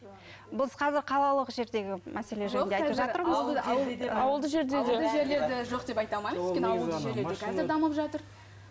біз қазір қалалық жердегі мәселе жайында